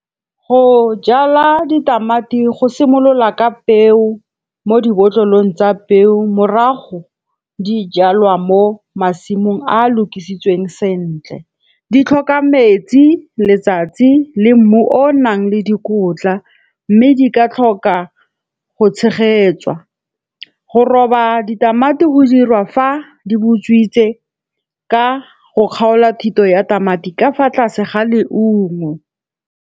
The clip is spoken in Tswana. Go jala ditamati, go simolola ka peo mo dibotlolong tsa peo. Morago di jalwa mo masimong a a lokisitsweng sentle. Di tlhoka metsi, letsatsi le mmu o o nang le dikotla. Mmme di ka tlhoka go tshegetswa. Go roba ditamati go dirwa fa dibutswitse ka go kgaola thito ya tamati ka fa tlase ga leungo.